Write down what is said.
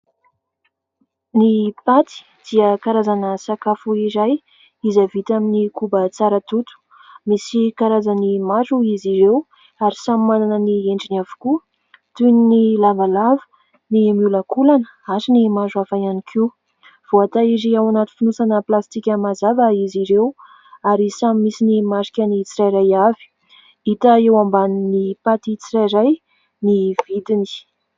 Ny paty dia karazana sakafo iray, izay vita amin'ny koba tsara toto ; misy karazany maro izy ireo ary samy manana ny endriny avokoa, toy ny : lavalava, ny miolakolana ary ny maro hafa ihany koa. Voatahiry ao anaty fonosana plastika mazava izy ireo ary samy misy ny marikany tsirairay avy. Hita eo ambanin'ny paty tsirairay ny vidiny.